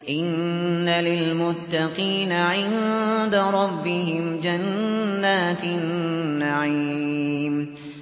إِنَّ لِلْمُتَّقِينَ عِندَ رَبِّهِمْ جَنَّاتِ النَّعِيمِ